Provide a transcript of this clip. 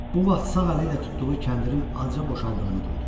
Bu vaxt sağ əli ilə tutduğu kəndirin aca boşaldığını duydu.